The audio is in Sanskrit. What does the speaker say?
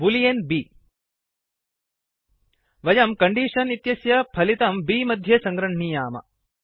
बूलियन् बि वयं कण्डीषन् इत्यस्य फलितं बि मध्ये सङ्गृह्णामः